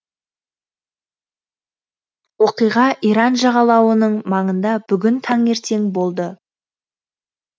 оқиға иран жағалауының маңында бүгін таңертең болды